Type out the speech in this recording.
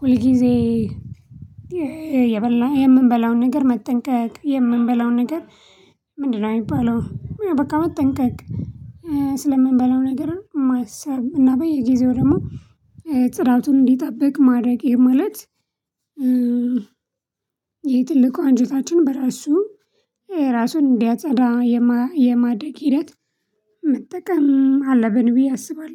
ሁልጊዜ የበላ የምንበላውን ነገር መጠንቀቅ የምንበላውን ነገር ምንድነው? የሚባለው በቃ መጠንቀቅ ስለምንበላው ነገር ማሰብ እና በየጊዜው ደግሞ ጽዳቱን እንዲጠብቅ ማድረግ ይሄ ማለት። ይሄ ትልቁ አንጀታችን በራሱ የራሱን እንዲያጸዳ የማድረግ ሂደት መጠቀም አለብን ብዬ አስባለሁ